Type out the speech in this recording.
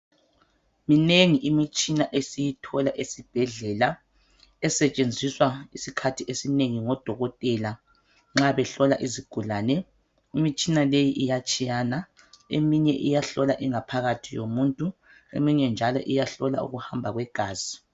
Minengi imitshina esiyithola esibhedlela esetshenziswa isikhathi esinengi ngodokotela nxa behlola isigulane imitshina leyi iyatshiyana eminye iyahlola ingaphakathi yomuntu eminye njalo iyahlola ukuhamba kwegazi.